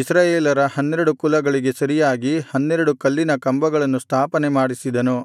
ಇಸ್ರಾಯೇಲರ ಹನ್ನೆರಡು ಕುಲಗಳಿಗೆ ಸರಿಯಾಗಿ ಹನ್ನೆರಡು ಕಲ್ಲಿನ ಕಂಬಗಳನ್ನು ಸ್ಥಾಪನೆಮಾಡಿಸಿದನು